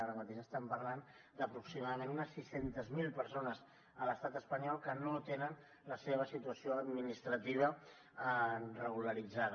ara mateix estem parlant d’aproximadament unes sis cents miler persones a l’estat espanyol que no tenen la seva situació administrativa regularitzada